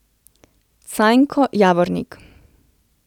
Cajnko Javornik.